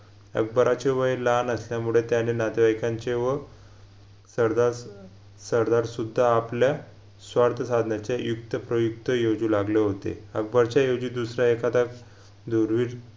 अकबराचे वय लहान असल्यामुडे त्याने नातेवाईकांचे व सरदार अं सरदारसुद्धा आपल्या स्वार्थ साधण्याचे युक्त प्रयुक्त योजू लागल होते अकबरच्या योजी दुसऱ्या एखादा धूरविर